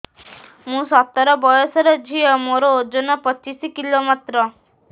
ମୁଁ ସତର ବୟସର ଝିଅ ମୋର ଓଜନ ପଚିଶି କିଲୋ ମାତ୍ର